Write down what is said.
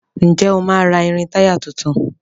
Ǹjẹ́ o máa ra irin-táyà tuntun?